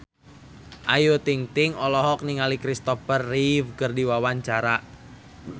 Ayu Ting-ting olohok ningali Kristopher Reeve keur diwawancara